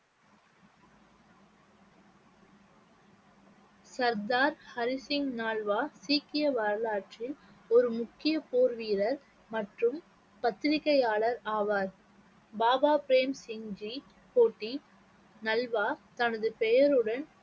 சர்தார் ஹரி சிங் நல்வா சீக்கிய வரலாற்றில் ஒரு முக்கிய போர் வீரர் மற்றும் பத்திரிக்கையாளர் ஆவார் பாபா பிரேம் சிங் ஜி நல்வா தனது பெயருடன்